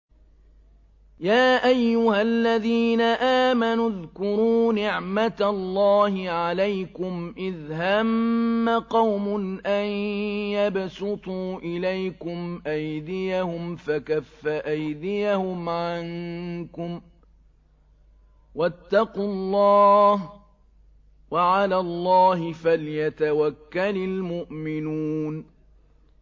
يَا أَيُّهَا الَّذِينَ آمَنُوا اذْكُرُوا نِعْمَتَ اللَّهِ عَلَيْكُمْ إِذْ هَمَّ قَوْمٌ أَن يَبْسُطُوا إِلَيْكُمْ أَيْدِيَهُمْ فَكَفَّ أَيْدِيَهُمْ عَنكُمْ ۖ وَاتَّقُوا اللَّهَ ۚ وَعَلَى اللَّهِ فَلْيَتَوَكَّلِ الْمُؤْمِنُونَ